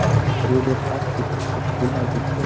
Road -র পাশ থেকে ফটো -টা তোলা গেছে ।